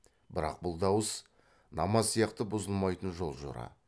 бірақ бұл дауыс намаз сияқты бұзылмайтын жол жора